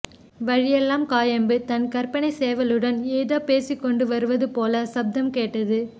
வழி எல்லாம் காயாம்பு தன் கற்பனைச்சேவலுடன் ஏதோ பேசிக் கொண்டுவருவது போலச் சப்தம் கேட்டது